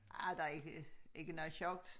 Ej der er ikke ikke noget sjovt